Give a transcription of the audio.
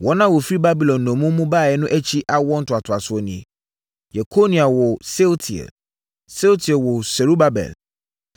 Wɔn a wɔfiri Babilon nnommum mu baeɛ no akyi awoɔ ntoatoasoɔ nie: Yekonia woo Sealtiel; Sealtiel woo Serubabel.